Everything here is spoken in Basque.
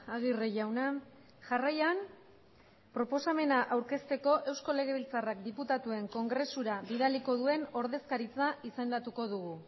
agirre jauna jarraian proposamena aurkezteko eusko legebiltzarrak diputatuen kongresura bidaliko duen ordezkaritza izendatuko dugu